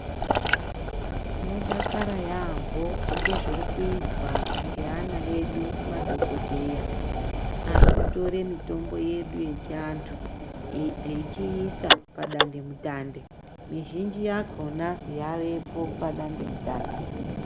Tinodakara yambo, ngezvirikuyiswa nge ana edu. Madhokodheya arikutore mitombo yedu echantu echiyisa padande mutande. Mizhinji yakhona yavepo padande mutande.